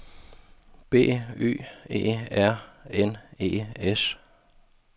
B Y E R N E S